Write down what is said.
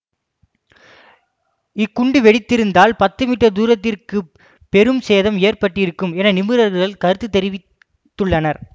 இக்குண்டு வெடித்திருந்தால் பத்து மீட்டர் தூரத்திற்குப் பெரும் சேதம் ஏற்பட்டிருக்கும் என நிபுணர்கள் கருத்து தெரிவித்துள்ளனர்